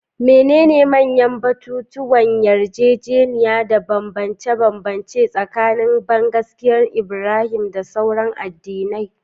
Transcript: Menene manyan batutuwan yarjejeniya da bambance-bambance tsakanin bangaskiyar Ibrahim da sauran addinai?